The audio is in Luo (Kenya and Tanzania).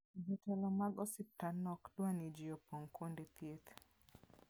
Jotelo mag osiptandno ok dwar ni ji opong' kuonde thieth.